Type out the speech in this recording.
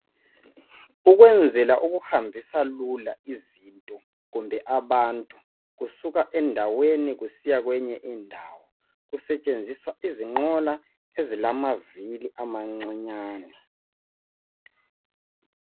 Ukwenzela ukuhambisa lula izinto kumbe abantu kusuka endaweni kusiya kweyinye indawo kusetshenziswa izinqola ezilamavili amancinyane.